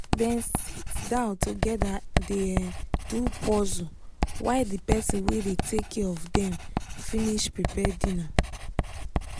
dem sit down together dey um do puzzle while the person wey dey take care of dem finish prepare dinner